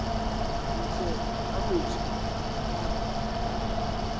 ntle a motho a ka